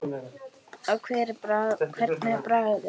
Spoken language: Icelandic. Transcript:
Og hvernig er bragðið?